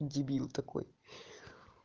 дебил такой